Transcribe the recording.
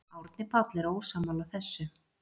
Árni Páll er ósammála þessu.